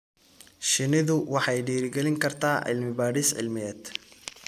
Shinnidu waxay dhiirigelin kartaa cilmi-baadhis cilmiyeed.